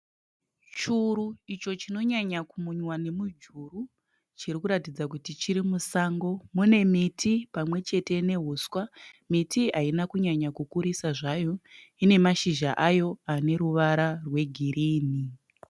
Churu icho chinonyanya kumunya nemujuru chiri kuratidza kuti chiri musango, mune miti pamwe chete nehuswa. Miti haina kunyanya kukurisa zvayo ine mashizha ayo ane ruvara rwe girini.